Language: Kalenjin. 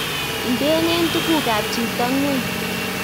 Indenen tugukab chito ng'weny